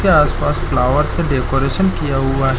के आसपास फ्लावर्स से डेकोरेशनस किया हुआ है।